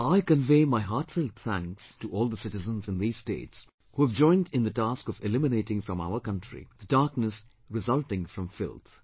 I convey my heartfelt thanks to all the citizens in these states who have joined in the task of eliminating from our country the darkness resulting from filth